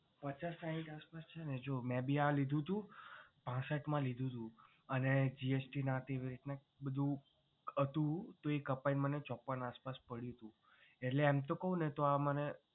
પચાસ સાઈઠ ની આસપાસ છે ને જો મે ભી આ લીધું હતું પાંસઠમાં લીધું હતું અને GST ના એવી રીતના થઈ ને બધુ હતું તો એ બધુ કપાઈ ને મને ચોપન આસપાસ પડયું તું એટલે એમ તો કહું ને તો આ મને